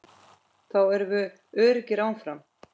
Þá erum við öruggir áfram.